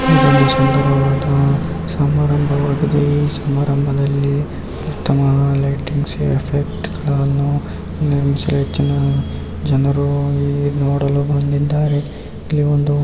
ಇದೊಂದು ಸುಂದರವಾದ ಸಮಾರಂಭವಾಗಿದೆ ಸಮಾರಂಭದಲ್ಲಿ ಉತ್ತಮವಾದ ಲೈಟಿಂಗ್ಸ್ ಆಫ್ಫೆಕ್ಟ್ ಗಳನ್ನು ಹೆಚ್ಚಿನ ಜನರು ಈ ನೋಡಲು ಬಂದಿದ್ದಾರೆ ಇಲ್ಲಿ ಒಂದು __